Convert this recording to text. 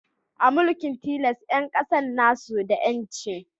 A mulkin tilas, 'yan kasan na su da 'yanci